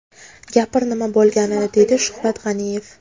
Gapir nima bo‘lganini”, deydi Shuhrat G‘aniyev.